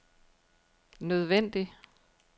nødvendig